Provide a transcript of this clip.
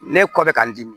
Ne kɔ bɛ ka n dimi